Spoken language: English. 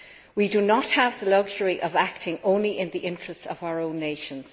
We do not have the luxury of acting only in the interests of our own nations